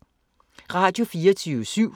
Radio24syv